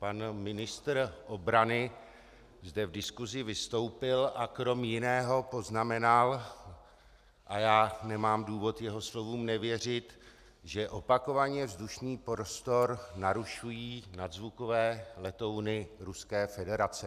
Pan ministr obrany zde v diskusi vystoupil a kromě jiného poznamenal, a já nemám důvod jeho slovům nevěřit, že opakovaně vzdušný prostor narušují nadzvukové letouny Ruské federace.